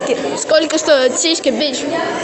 сколько стоят сиськи бич